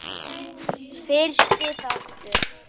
Fyrsti þáttur